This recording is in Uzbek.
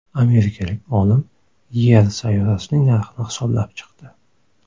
Amerikalik olim Yer sayyorasining narxini hisoblab chiqdi.